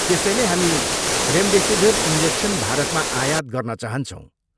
त्यसैले हामी remdesivir injection भारतमा आयात गर्न चाहन्छौँ।